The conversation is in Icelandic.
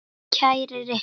Alveg eins og þú sjálf.